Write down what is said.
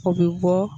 O bɛ bɔ